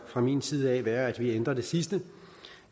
fra min side vil være at vi ændrer det sidste